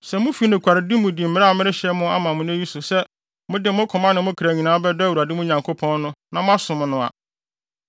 Sɛ mufi nokwaredi mu di mmara a merehyɛ ama mo nnɛ yi so sɛ mode mo koma ne mo kra nyinaa bɛdɔ Awurade, mo Nyankopɔn no, na moasom no a,